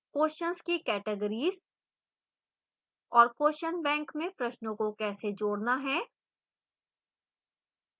questions की categories और question bank में प्रश्नों को कैसे जोड़ना है